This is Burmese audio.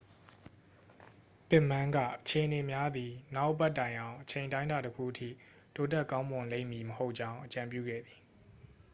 ပစ်မန်းက အခြေအနေများသည် နောက်အပတ်တိုင်အောင် အချိန်အတိုင်းအတာတစ်ခုအထိ တိုးတက်ကောင်းမွန်လိမ့်မည်မဟုတ်ကြောင်း အကြံပြုခဲ့သည်